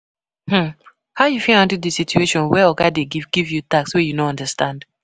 I fit respect ogas fit respect ogas by being polite and courteous, lis ten well and follow di instructions. um